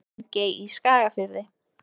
Drangey í Skagafirði.